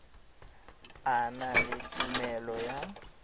a na le tumelelo ya